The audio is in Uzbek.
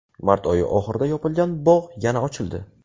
Mart oyi oxirida yopilgan bog‘ yana ochildi.